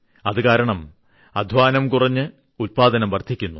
അതുകാരണം അദ്ധ്വാനം കുറഞ്ഞ് ഉത്പാദനം വർദ്ധിക്കുന്നു